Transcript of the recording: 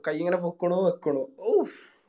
കൈ ഇങ്ങനെ പോക്കുണു വെക്കുണു ഔഫ്